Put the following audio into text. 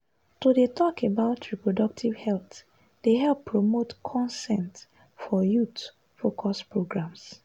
to dey talk about reproductive health dey help promote consent for youth-focused programs.